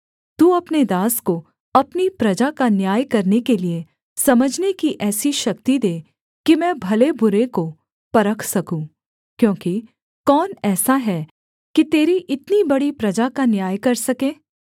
तू अपने दास को अपनी प्रजा का न्याय करने के लिये समझने की ऐसी शक्ति दे कि मैं भले बुरे को परख सकूँ क्योंकि कौन ऐसा है कि तेरी इतनी बड़ी प्रजा का न्याय कर सके